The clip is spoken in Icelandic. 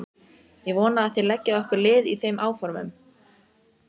Ég vona að þér leggið okkur lið í þeim áformum.